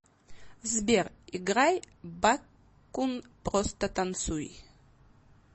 сбер играй бакун просто танцуй